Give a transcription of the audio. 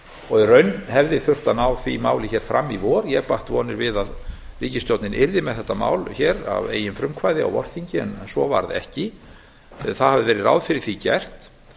og í raun hefði þurft að ná því máli fram í vor ég batt vonir við að ríkisstjórnin yrði með þetta mál að eigin frumkvæði á vorþingi en svo varð ekki ráð hafði verið fyrir því gert